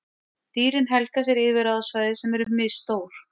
Dýrin helga sér yfirráðasvæði sem eru misstór.